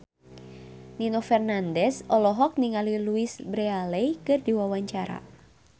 Nino Fernandez olohok ningali Louise Brealey keur diwawancara